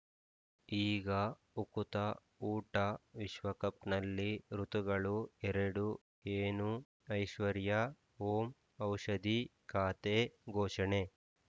ಈಗ ಉಕುತ ಊಟ ವಿಶ್ವಕಪ್‌ನಲ್ಲಿ ಋತುಗಳು ಎರಡು ಏನು ಐಶ್ವರ್ಯಾ ಓಂ ಔಷಧಿ ಖಾತೆ ಘೋಷಣೆ